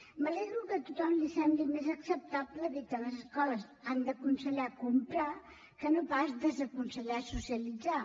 me n’alegro que a tothom li sembli més acceptable dir que les escoles han d’aconsellar comprar que no pas desaconsellar socialitzar